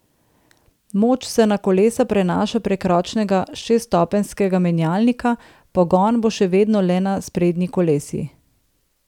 Moč se na kolesa prenaša prek ročnega šeststopenjskega menjalnika, pogon bo še vedno le na sprednji kolesi.